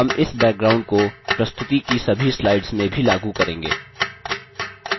हम इस background को प्रस्तुति की सभी slides में भी लागू करेंगे